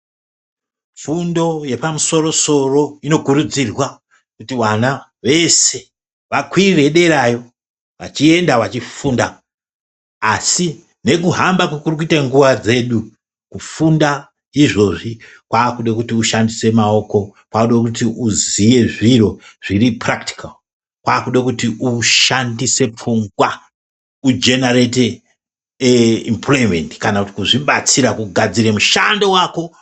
Fundo yepamusoro soro inokurudzirwa kuti vana veshe vakwire derayo vachienda vechifunda asi nekuhamba kuri kuite nguwa dzedu kufunda izvezvi kwakude kuti ushandise maoko kwakude kuti uziye zviro zviri purakitikawu. Kwakude kuti ushandise pfungwa kujenarete imupuloyimendi kana kugadzira mushando wako.